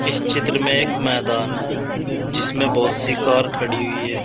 इस चित्र में एक मैदान है जिसमें बहुत सी कार खड़ी हुई है।